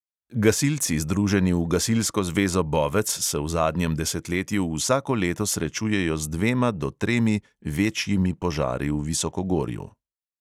Gasilci, združeni v gasilsko zvezo bovec, se v zadnjem desetletju vsako leto srečujejo z dvema do tremi večjimi požari v visokogorju.